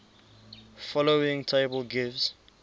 following table gives